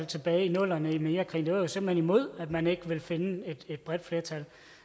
tilbage i nullerne i forbindelse med irakkrigen vi var simpelt hen imod at man ikke ville finde et bredt flertal